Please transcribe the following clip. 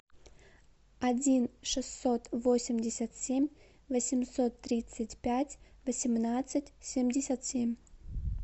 один шестьсот восемьдесят семь восемьсот тридцать пять восемнадцать семьдесят семь